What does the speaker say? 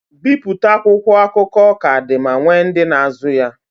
Bipụta akwụkwọ akụkọ ka dị ma nwee ndị na-azụ ya.